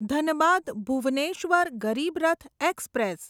Dhanbad Bhubaneswar Garib Rath express